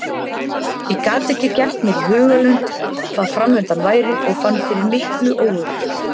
Ég gat ekki gert mér í hugarlund hvað framundan væri og fann fyrir miklu óöryggi.